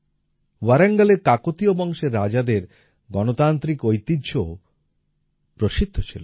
ওয়ারাঙ্গলের কাকতিয় বংশের রাজাদের গণতান্ত্রিক ঐতিহ্যও প্রসিদ্ধ ছিল